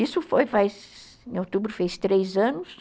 Isso foi em outubro, fez três anos.